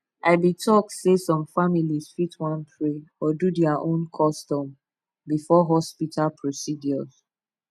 i be talk sey some families fit want pray or do their own custom before hospital procedures